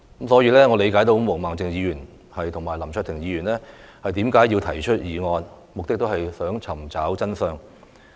所以，我理解毛孟靜議員和林卓廷議員提出議案，目的也是為了查明真相。